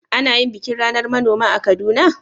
Ana yin bikin ranar manoma a Kaduna?